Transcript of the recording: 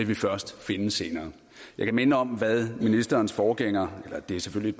vi først finde senere jeg kan minde om hvad en af ministerens forgængere og det er selvfølgelig